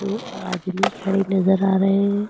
वो आदमी खड़े नजर आ रहे हैं।